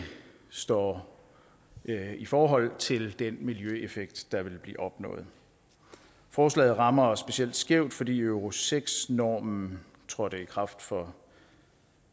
står i forhold til den miljøeffekt der vil blive opnået forslaget rammer specielt skævt fordi euro seks normen trådte i kraft for